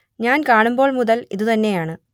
ഞാൻ കാണുമ്പോൾ മുതൽ ഇതു തന്നെയാണ്